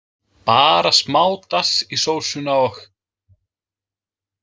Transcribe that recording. Bara smá dass í sósuna og.